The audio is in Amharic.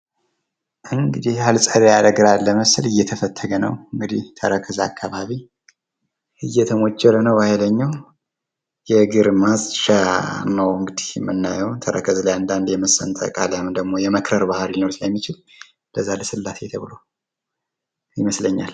የፀሐይ መከላከያ ቅባቶች ቆዳን ከፀሐይ ጎጂ ጨረሮች በመጠበቅ የእርጅና ምልክቶችንና የቆዳ ካንሰርን ለመከላከል ያግዛሉ።